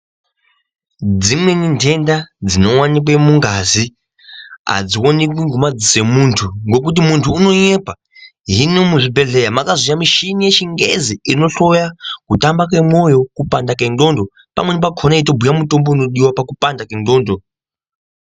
Dzimweni ntenda dsinoonekwe mungazi adzioneki ngemaziso emuntu ngokuti muntu unonyepa. Hino muzvibhedhleya mwakazouya muchini yechingezi inohloya kutamba kwemwoyo kupanda kwendxondo pamweni pakhona yeitobhuye mutombo unodiwa pakupanda kwendxondo.